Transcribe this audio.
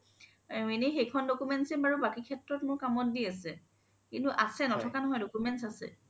এনে সেইখন documents য়ে বাৰু বাকি সেত্ৰত মোৰ কাম দি আছে কিন্তু আছে নথকা নহয় documents আছে